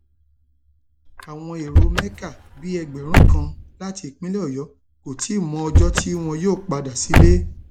àwọn èrò mẹka bíi ẹgbẹrún kan láti ìpínlẹ ọyọ kò tí ì mọ ọjọ tí wọn yóò padà sílé